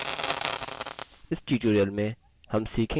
इस tutorial में हम सीखेंगे कि कैसेः